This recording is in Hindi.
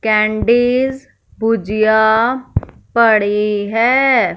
कैंडिस भुजिया पड़ी है।